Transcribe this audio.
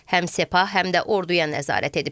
Həm Sepah, həm də orduya nəzarət edib.